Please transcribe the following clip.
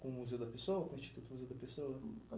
Com o Instituto Museu da Pessoa? Com o Instituto Museu da Pessoa?